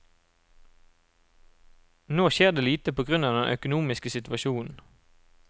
Nå skjer det lite på grunn av den økonomiske situasjonen.